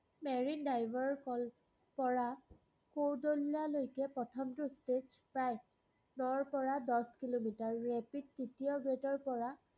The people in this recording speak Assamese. marine-drive ৰপৰা কুৰ্ডোমল্লালৈকে প্ৰথমটো stretch five নৰপৰা দশ কিলোমিটাৰলৈকে rapid তৃতীয় grade ৰপৰা